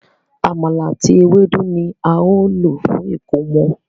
Àmàlà àti Ewédú ní ào ló fún ẹkọmọ.